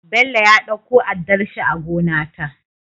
Bello ya ɗauko addarshi a gona ta